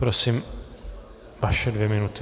Prosím, vaše dvě minuty.